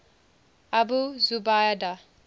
abu zubaydah